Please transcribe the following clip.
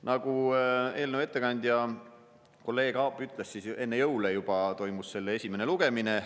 Nagu eelnõu ettekandja kolleeg Aab ütles, enne jõule juba toimus selle esimene lugemine.